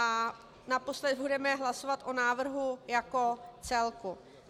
A naposledy budeme hlasovat o návrhu jako celku.